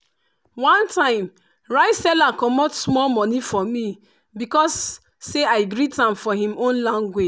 one time rice seller comot small money for me because say i greet am for him own language.